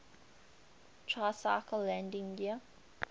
tricycle landing gear